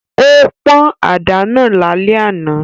Ó pọ́n àdá náà lálẹ́ àná